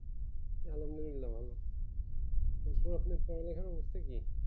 আলহামদুলিল্লাহ ভালো আপনার পড়ালেখার অবস্থা কি?